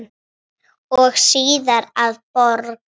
og síðar að borg.